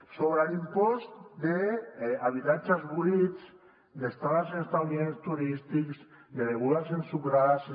sobre l’impost d’habitatges buits d’estades en establiments turístics de begudes ensucrades